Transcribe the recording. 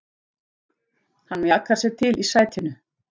Hann mjakar sér til í sætinu.